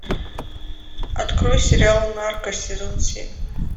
открой сериал нарко сезон семь